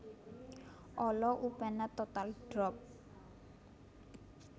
Olo upena total drop